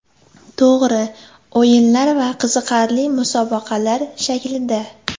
To‘g‘ri, o‘yinlar va qiziqarli musobaqalar shaklida.